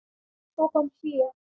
Svo kom hlé.